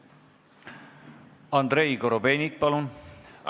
Andrei Korobeinik, palun!